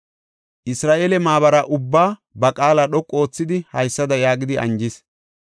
Isra7eele maabara ubbaa ba qaala dhoqu oothidi haysada yaagidi anjis;